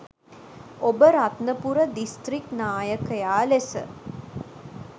ඔබ රත්නපුර දිස්ත්‍රික් නායකයා ලෙස